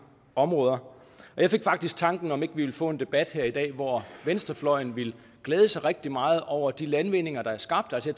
områder og jeg fik faktisk tanken om ikke vi ville få en debat her i dag hvor venstrefløjen ville glæde sig rigtig meget over de landvindinger der er skabt altså